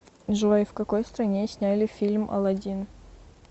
джой в какой стране сняли фильм алладин